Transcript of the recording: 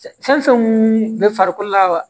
Fɛn fɛn mun bɛ farikolo la wa